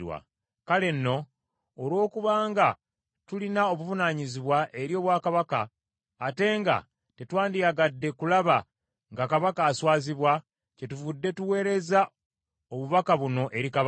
Kale nno, olw’okuba nga tulina obuvunaanyizibwa eri obwakabaka, ate nga tetwandiyagadde kulaba nga kabaka aswazibwa, kyetuvudde tuweereza obubaka buno eri kabaka,